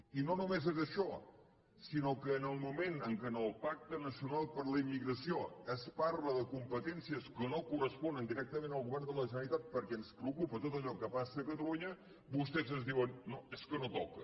i no només és això sinó que en el moment en què en el pacte nacional per a la immigració es parla de compe·tències que no corresponen directament al govern de la generalitat perquè ens preocupa tot allò que passa a catalunya vostès ens diuen no és que no toca